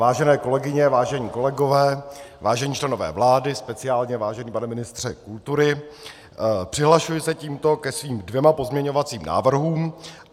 Vážené kolegyně, vážení kolegové, vážení členové vlády, speciálně vážený pane ministře kultury, přihlašuji se tímto ke svým dvěma pozměňovacím návrhům.